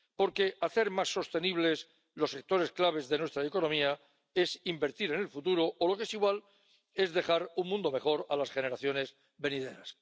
Porque hacer más sostenibles los sectores claves de nuestra economía es invertir en el futuro o, lo que es igual, es dejar un mundo mejor a las generaciones venideras.